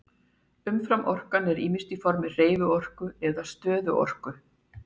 Umframorkan er ýmist á formi hreyfiorku eða stöðuorku.